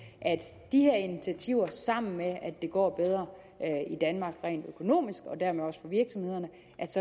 at de her initiativer sammen med at det går bedre i danmark rent økonomisk og dermed også for virksomhederne